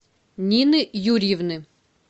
нины юрьевны